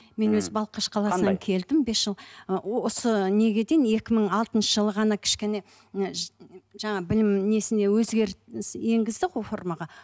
мен өзім балқаш қаласынан келдім бес жыл ы осы неге дейін екі мың алтыншы жылы ғана кішкене жаңа білім несіне өзгеріс енгізді ғой формаға